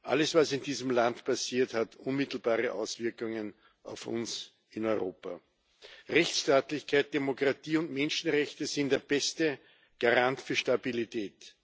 alles, was in diesem Land passiert, hat unmittelbare Auswirkungen auf uns in Europa. Rechtsstaatlichkeit, Demokratie und Menschenrechte sind der beste Garant für Stabilität.